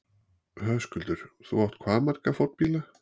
Höskuldur: Þú átt hvað marga fornbíla?